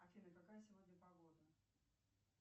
афина какая сегодня погода